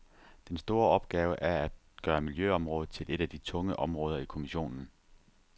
Den store opgave er at gøre miljøområdet til et af de tunge områder i kommissionen.